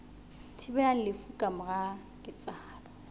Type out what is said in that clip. thibelang lefu ka mora ketsahalo